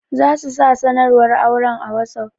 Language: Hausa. Za su sa sanarwar auren a wossof.